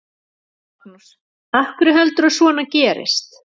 Magnús: Af hverju heldurðu að svona gerist?